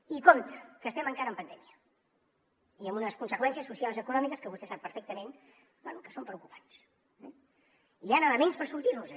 i compte que estem encara en pandèmia i amb unes conseqüències socials i econòmiques que vostè sap perfectament bé que són preocupants eh hi han elements per sortir nos en